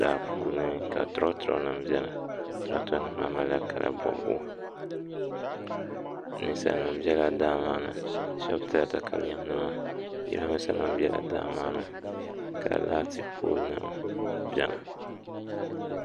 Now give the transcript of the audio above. daa puuni ka turoturonima beni turoturonima maa malila kala bɔbigu ninsalinima bela daa maa ni shɛba tila takalɛmnima jirambiisanima bela daa maa ni ka laati poolinima beni